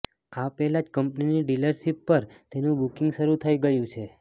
આ પહેલાં જ કંપનીની ડિલરશિપ પર તેનું બુકિંગ શરૂ થઈ ગયું છે